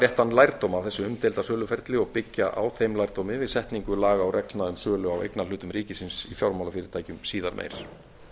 réttan lærdóm af eru umdeilda söluferli og byggja á þeim lærdómi við setningu laga og reglna um sölu á eignarhlutum ríkisins í fjármálafyrirtækjum síðar meir